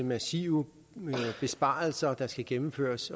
massive besparelser der skal gennemføres